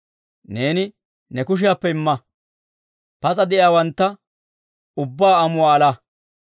Neeni ne kushiyaappe imma; pas'a de'iyaawantta ubbaa amuwaa alaa.